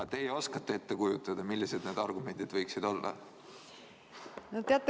Kas teie oskate ette kujutada, millised need argumendid võiksid olla?